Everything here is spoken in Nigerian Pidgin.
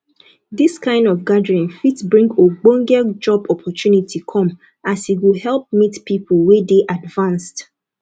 dis kind of gathering fit bring ogbonge job opportunity come as e go help meet people wey dey advanced